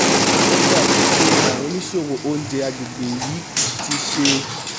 ó dàbí pé àwọn oníṣòwò oúnjẹ agbègbè yìí ti ṣe